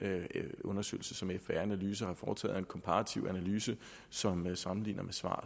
undersøgelse som fbr analyse har foretaget der er en komparativ analyse som sammenligner med svar